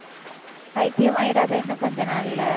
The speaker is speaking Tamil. பைத்தியமாயிடாத இன்னும் கொஞ்ச நாள்ல.